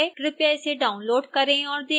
कृपया इसे download करें और देखें